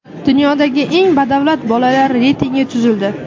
Dunyodagi eng badavlat bolalar reytingi tuzildi .